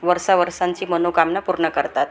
वरसा वरसांची मनोकामना पूर्ण करतात.